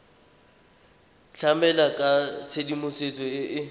tlamela ka tshedimosetso e e